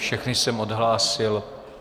Všechny jsem odhlásil.